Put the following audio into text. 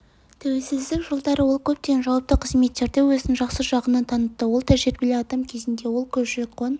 тәуелсіздік жылдары ол көптеген жауапты қызметтерде өзін жақсы жағынан танытты ол тәжірибелі адам кезінде ол көші-қон